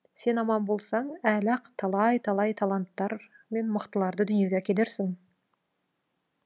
сен аман болсаң әлі ақ талай талай таланттар ме мықтыларды дүниеге әкелерсің